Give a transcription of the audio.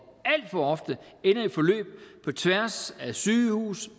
alt for ofte ender i et forløb på tværs af sygehus